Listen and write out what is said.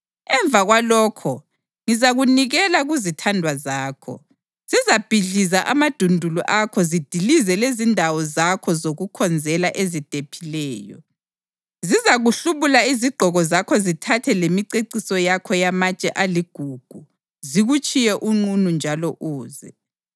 Emva kwalokho ngizakunikela kuzithandwa zakho, zizabhidliza amadundulu akho zidilize lezindawo zakho zokukhonzela ezidephileyo. Zizakuhlubula izigqoko zakho zithathe lemiceciso yakho yamatshe aligugu zikutshiye unqunu njalo uze.